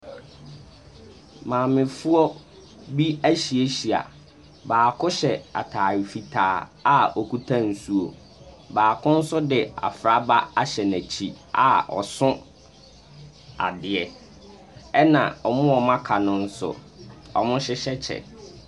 Maamefoɔ bi ahyiahyia. Baako hyɛ ataare fitaa a okita nsuo. Baako nso de afraba ahyɛ n'akyi a ɔso adeɛ. Ɛna wɔn a aka no nso wɔhyehyɛ kyɛ.